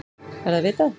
Er það vitað?